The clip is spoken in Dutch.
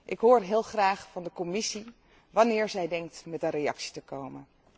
Ik hoor heel graag van de Commissie wanneer zij denkt met een reactie te komen.